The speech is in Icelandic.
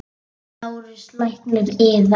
LÁRUS: Lækninn yðar?